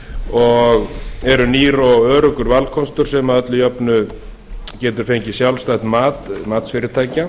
og eru nýr og öruggur valkostur sem að öllu jöfnu getur fengið sjálfstætt mat matsfyrirtækja